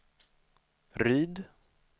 Ryd